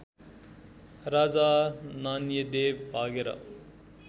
राजा नान्यदेव भागेर